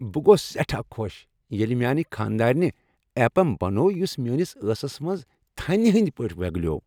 بہٕ گوٚوس سٮ۪ٹھاہ خۄش ییٚلہ میانِہ خانٛدارنہ ایپم بنوو یس میٲنس ٲسس منٛز تھنِہ ہٕنٛدۍ پٲٹھۍ ویگلیو۔